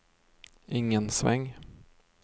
ingen sväng